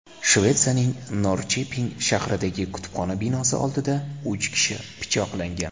Shvetsiyaning Norrcheping shahridagi kutubxona binosi oldida uch kishi pichoqlangan.